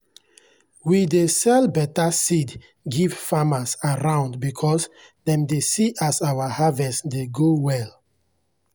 we dey sell better seed give farmers around because dem dey see as our harvest dey go well.